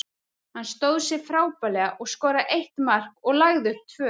Hann stóð sig frábærlega og skoraði eitt mark og lagði upp tvö.